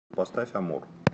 салют поставь амор